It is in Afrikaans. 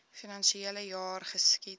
finansiele jaar geskied